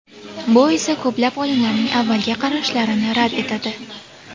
Bu esa ko‘plab olimlarning avvalgi qarashlarini rad etadi.